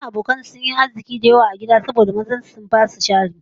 Matan abokan sa da yawa sun yi arziki saboda kasuwanci a gida don mazan su sun ba su jari